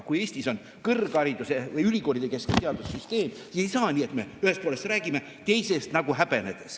Kui Eestis on kõrghariduse või ülikoolide keskne teadussüsteem, siis ei saa nii, et me ühest poolest räägime, aga teist nagu häbeneme.